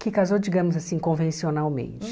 que casou, digamos assim, convencionalmente.